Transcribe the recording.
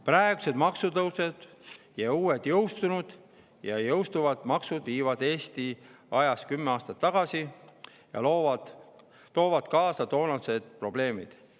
Praegused maksutõusud ning uued jõustunud ja jõustuvad maksud viivad Eesti ajas kümme aastat tagasi ja toovad kaasa toonased probleemid.